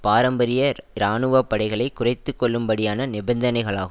பாரம்பரிய இராணுவ படைகளை குறைத்துக்கொள்ளும்படியான நிபந்தனைகளாகு